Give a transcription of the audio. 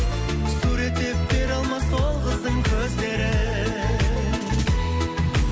суреттеп бере алмас ол қыздың көздерін